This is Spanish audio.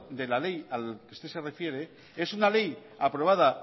de la ley al que usted se refiere es una ley aprobada